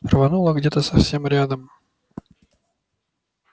рвануло где-то совсем рядом